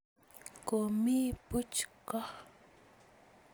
Komi buch ko